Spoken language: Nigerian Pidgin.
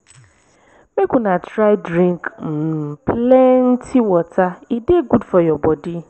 make una try drink um plenty water e dey good for your bodi.